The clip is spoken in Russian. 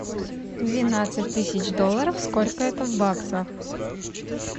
двенадцать тысяч долларов сколько это в баксах